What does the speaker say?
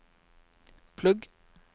plugg